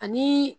Ani